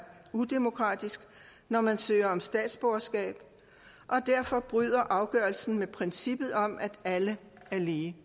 udemokratisk når man søger om statsborgerskab og derfor bryder afgørelsen med princippet om at alle er lige